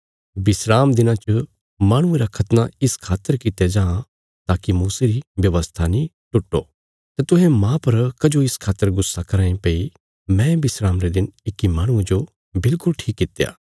विस्राम दिना च माहणुये रा खतना इस खातर कित्या जां ताकि मूसे री व्यवस्था नीं टुट्टो तां तुहें माह पर कजो इस खातर गुस्सा कराँ ये भई मैं विस्राम रे दिन इक्की माहणुये जो बिल्कुल ठीक कित्या